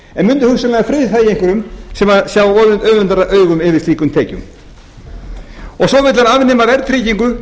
en myndu hugsanlega friðþægja einhverjum sem sjá öfundaraugum yfir slíkum tekjum svo vill hann afnema verðtryggingu